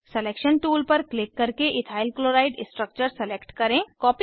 selection tool पर click करके ethyl chloride structure select करें